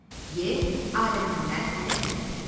E. adətindən irəli gələn qoxu.